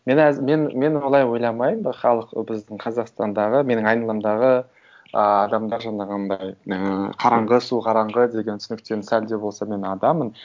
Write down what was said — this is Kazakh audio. мен мен олай ойламаймын халық біздің қазақстандағы менің айналамдағы ыыы адамдар жаңағындай ыыы қараңғы су қараңғы деген түсініктен сәл де болса мен адамын